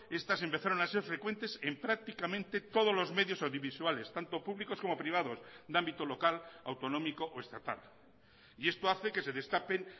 estas empezaron a ser frecuentes en prácticamente todos los medios audiovisuales tanto públicos como privados de ámbito local autonómico o estatal y esto hace que se destapen